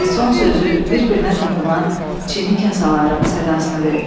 Və son sözü bir-birinə toxunan çini kasaların sədasını verdi.